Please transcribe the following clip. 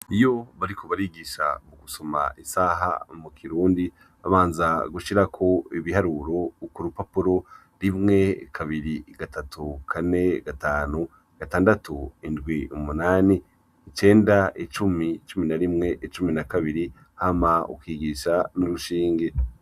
Iyo bariko barigisha gusoma isaha mu kirundi babanza gushirako ibiharuro kurupapuro: rimwe, kabiri, gatatu, kane, gatanu, gatandatu, indwi, umunani, icenda, icumi, icumi na rimwe, icumi na kabiri hama ukigisha n’urushinge.